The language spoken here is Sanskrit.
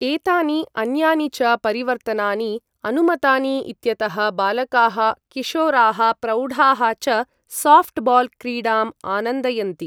एतानि अन्यानि च परिवर्तनानि अनुमतानि इत्यतः बालकाः, किशोराः, प्रौढाः च साऴ्ट् बाल् क्रीडाम् आनन्दयन्ति।